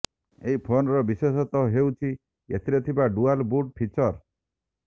ଏହି ଫୋନର ବିଶେଷତ୍ୱ ହେଉଛି ଏଥିରେ ଥିବା ଡୁଆଲ୍ ବୁଟ୍ ଫିଚର୍